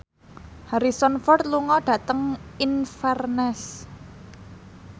Harrison Ford lunga dhateng Inverness